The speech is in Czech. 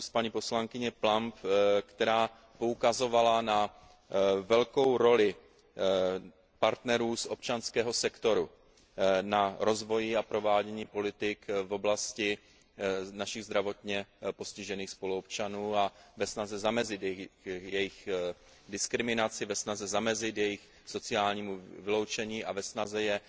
z úst paní poslankyně Plumbové, která poukazovala na velkou roli partnerů z občanského sektoru v rozvoji a provádění politik v oblasti našich zdravotně postižených spoluobčanů a ve snaze zamezit jejich diskriminaci, ve snaze zamezit jejich sociálnímu vyloučení a ve snaze je